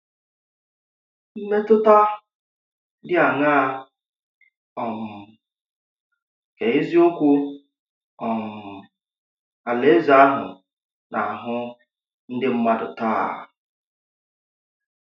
Mmètùta dị àṅàa um kà eziokwu um Àláèzè àhụ̀ n’ahụ́ ndí mmádù̀ taa?